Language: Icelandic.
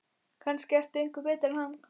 Kannske ertu engu betri en hann.